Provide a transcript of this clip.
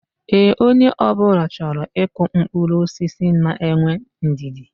Ee, onye obula choro iku mkpuru osisi na enwe ndidi